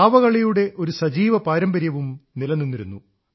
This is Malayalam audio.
പാവകളിയുടെ ഒരു സജീവ പാരമ്പര്യവും നിലനിന്നിരുന്നു